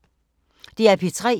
DR P3